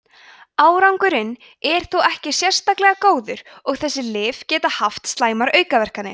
árangurinn er þó ekki sérlega góður og þessi lyf geta haft slæmar aukaverkanir